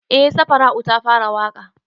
Eh safara'u ta fara waƙa